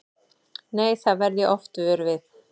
Nei, það verð ég oft vör við.